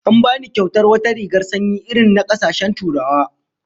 An bani kyautar wata rigar sanyi irin na kasashen Turawa